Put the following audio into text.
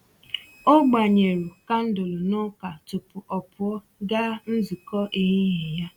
O gbanyere kandụlụ n'ụka tupu ọ pụọ gaa nzukọ ehihie ya.